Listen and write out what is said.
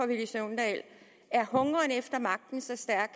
villy søvndal er hungeren efter magten så stærk